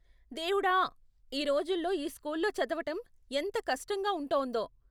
దేవుడా, ఈ రోజుల్లో ఈ స్కూల్లో చదవటం ఎంత కష్టంగా ఉంటోందో.